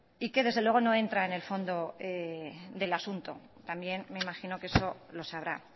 y que desde luego no entra en el fondo del asunto también me imagino que eso lo sabrá